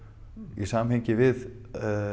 í samhengi við